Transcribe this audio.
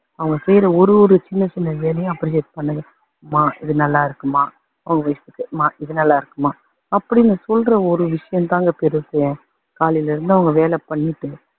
அவங்க செய்யுற ஒரு ஒரு சின்ன சின்ன வேலையும் appreciate பண்ணுங்க. அம்மா இது நல்லா இருக்கும்மா, இது நல்லா இருக்கும்மா, அப்படின்னு சொல்ற ஒரு விஷயந்தாங்க பெருசு. காலையில இருந்து அவங்க வேலை பண்ணிட்டு